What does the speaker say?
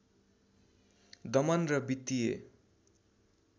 दमन र वित्तीय